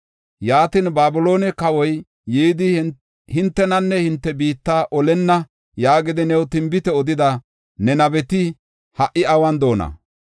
Yaatin, ‘Babiloone kawoy yidi hintenanne hinte biitta olenna’ yaagidi new tinbite odida ne nabeti ha77i awun de7oona?